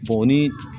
o ni